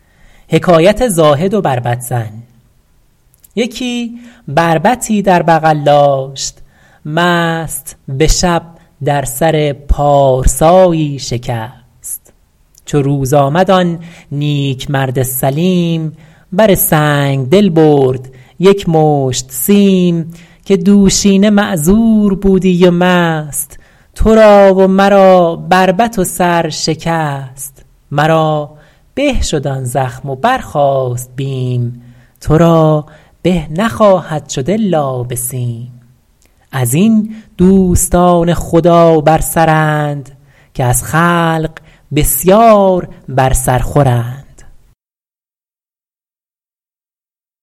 یکی بربطی در بغل داشت مست به شب در سر پارسایی شکست چو روز آمد آن نیک مرد سلیم بر سنگدل برد یک مشت سیم که دوشینه معذور بودی و مست تو را و مرا بربط و سر شکست مرا به شد آن زخم و برخاست بیم تو را به نخواهد شد الا به سیم از این دوستان خدا بر سرند که از خلق بسیار بر سر خورند